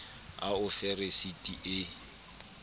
a o fe resiti e